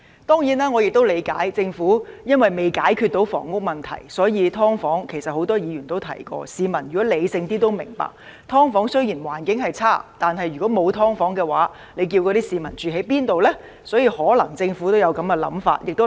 當然，我亦理解，政府因為未能解決房屋問題，所以，其實很多議員都提過，而市民如果理性一點也會明白，"劏房"雖然環境惡劣，但如果沒有"劏房"，那些市民可以住在哪裏？